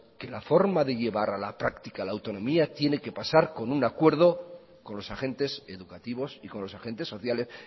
que la forma de llevar a la práctica la autonomía tiene que pasar con un acuerdo con los agentes educativos y con los agentes sociales